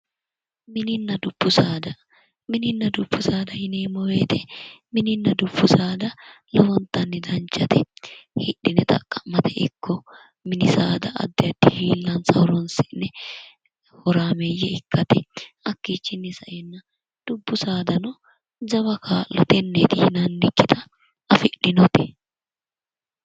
Mininna dubbu saada mininna dubbu saada yineemmo woyte mininna dubbu saada lowontanni danchate hidhine xaqa'mate ikko mini saada addi addi garinni horaameeyye ikkatena dubbu saadano dubbu saadano lowo kaa'lo tenneti yonannikkita afidhinote.